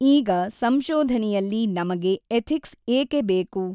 ಈಗ ಸಂಶೊಧನೆಯಲ್ಲಿ ನಮಗೆ ಎಥಿಕ್ಸ್ ಏಕೆ ಬೇಕು?